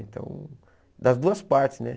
Então, das duas partes, né?